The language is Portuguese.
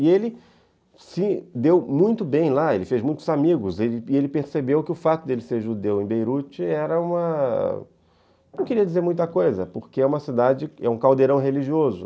E ele se deu muito bem lá, ele fez muitos amigos, e ele percebeu que o fato de ele ser judeu em Beirute era uma... não queria dizer muita coisa, porque é uma cidade, é um caldeirão religioso.